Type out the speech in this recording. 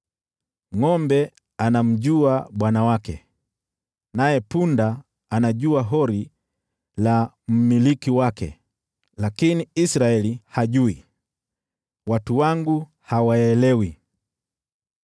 Ngʼombe anamjua bwana wake, naye punda anajua hori la mmiliki wake, lakini Israeli hajui, watu wangu hawaelewi.”